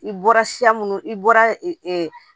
I bɔra siya munnu i bɔra